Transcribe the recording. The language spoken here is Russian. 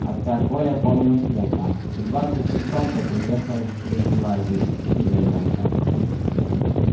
отца коля помнил смутно в двадцать шестом тот уехал в среднюю азию и не вернулся